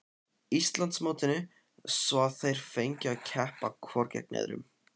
Íslandsmótinu svo að þeir fengju að keppa hvor gegn öðrum.